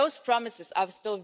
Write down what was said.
as criminals. And this